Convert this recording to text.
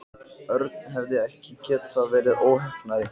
Örn hefði ekki getað verið óheppnari.